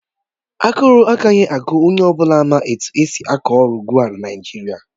Aguru agaghị agu onye ọ bụla ma etu esi akọ ọrụ ugbo na Naịjirịa